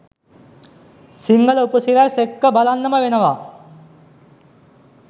සිංහල උපසිරැස් එක්ක බලන්නම වෙනවා